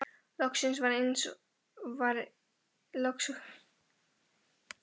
Loks var eins og Sóldís rankaði við sér.